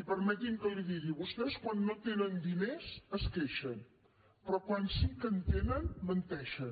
i permeti’m que li ho digui vostès quan no tenen diners es queixen però quan sí que en tenen menteixen